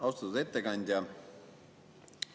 Austatud ettekandja!